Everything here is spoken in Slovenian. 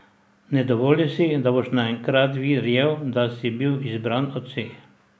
Ne dovoli si, da boš naenkrat verjel, da si bil izbran od vseh.